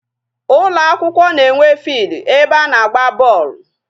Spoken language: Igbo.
Ụlọ akwụkwọ na-enwe field ebe a na-agba bọọlụ.